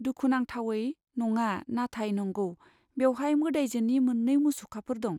दुखुनांथावै, नङा, नाथाय नंगौ, बेवहाय मोदायजोनि मोननै मुसुखाफोर दं।